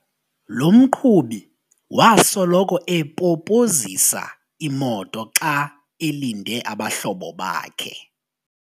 Lo mqhubi wasoloko epopozisa imoto xa elinde abahlobo bakhe.